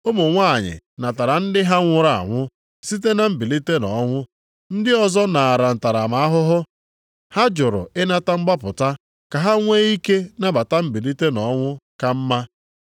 Ụmụ nwanyị natara ndị ha nwụrụ anwụ, site na mbilite nʼọnwụ. Ndị ọzọ naara ntaramahụhụ, ha jụrụ ịnata mgbapụta ka ha nwee ike nata mbilite nʼọnwụ ka mma.